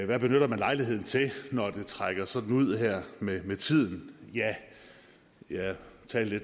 hvad benytter man lejligheden til når det trækker sådan ud her med med tiden ja jeg talte